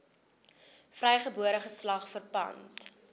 vrygebore geslag verpand